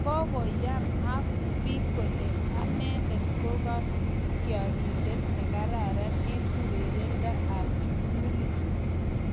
Kokoyam as koyan bik kole anendet koakatyarindet nekararan eng urerendo ap kiptulit